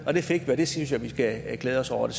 og det fik vi og det synes jeg vi skal glæde os over det